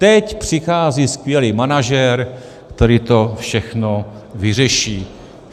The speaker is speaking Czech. Teď přichází skvělý manažer, který to všechno vyřeší.